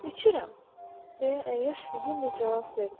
İçirəm, deyə əyyaş hüznlə cavab verdi.